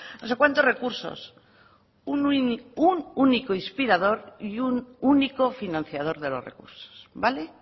no sé cuántos recursos un único inspirador y un único financiador de los recursos vale